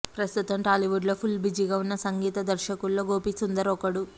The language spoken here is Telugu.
ప్రస్తుతం టాలీవుడ్లో ఫుల్ బిజీగా ఉన్న సంగీత దర్శకుల్లో గోపిసుందర్ ఒకడు